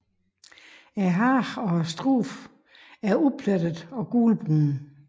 Hage og strube er uplettede og gulbrune